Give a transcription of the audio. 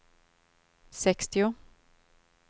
sextio